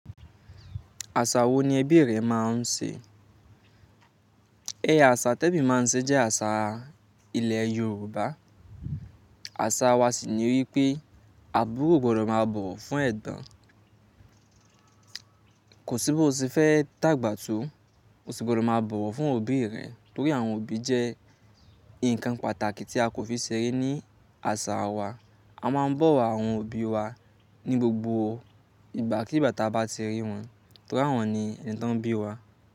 Àṣà wo ni ẹbí rẹ máa ń ṣe? Ẹ̀ya àṣà tí ẹmí máa ń ṣe jẹ́ àṣà ilẹ̀ Yorùbá. Àṣà wa sì ni wípé, àbúrò gbọdọ̀ máa bọ̀wọ̀ fún ẹ̀gbọ́n. Kò sí bóṣe fẹ́ dàgbà tó, o sì gbọdọ̀ má bọ̀wọ̀ fún òbí rẹ torí àwọn òbí jẹ́ nǹkan pàtàkì tí a kò fi ṣeré ní àṣà wa. A máa bọ̀ àwọn òbí wa ní gbogbo ìgbàkígbà tí a bátí ti rí wọn torí àwọn ni ẹni tó bí wa.